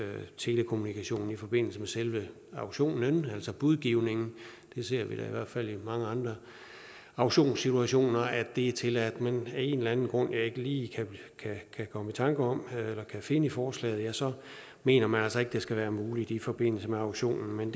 telekommunikation i forbindelse med selve auktionen altså budgivningen vi ser da i hvert fald i mange andre aktionssituationer at det er tilladt men af en eller anden grund jeg ikke lige kan komme i tanker om eller kan finde i forslaget så mener man altså ikke det skal være muligt i forbindelse med auktionen men